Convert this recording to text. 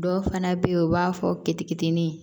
Dɔw fana bɛ yen u b'a fɔ k'i kitinni